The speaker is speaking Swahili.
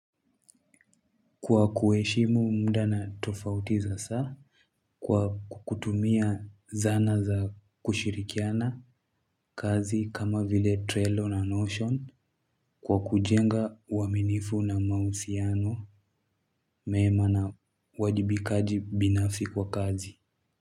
Kwa kuheshimu muda na tofauti za saa kwa kutumia zana za kushirikiana kazi kama vile Trello na Notion kwa kujenga uwaminifu na mahusiano mema na uwajibikaji binafsi kwa kazi.